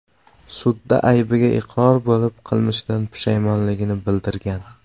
sudda aybiga iqror bo‘lib, qilmishidan pushaymonligini bildirgan.